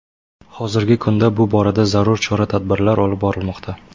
Hozirgi kunda bu borada zarur chora-tadbirlar olib borilmoqda.